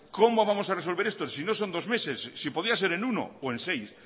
cómo vamos a resolver esto si no son dos meses si podía ser en uno o en seis